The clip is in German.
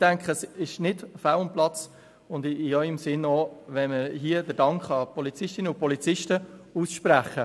ich denke, es ist nicht fehl am Platz und sicher auch in Ihrem Sinne, wenn wir hier auch den Polizistinnen und Polizisten unseren Dank aussprechen.